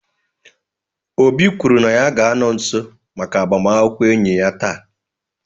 Obi kwuru na ya ga-anọ nso maka agbamakwụkwọ enyi ya taa